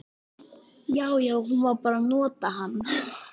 Já, já, hún var bara að nota hann.